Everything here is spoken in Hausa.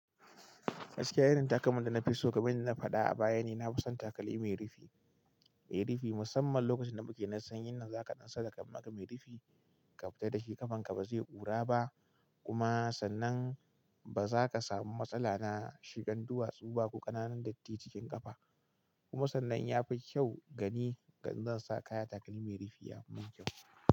Gaskiya irin takalmin da na fi so, kaman inda na faɗa a baya ne, na fi son takalmi mai rufi, mai rufi, musamman lokacin da muke na sanyin nan zaka ɗan saka maka mai rufi, ƙafita da shi ƙafan ka ba zai ƙura ba, kuma sannan ba za ka samu matsala na shigan duwatsu ba ko ƙananan datti cikin ƙafa. Kuma sannan ya fi kyau gani, ga in zan sa kaya takalmi mai rufi ya fi min kyau.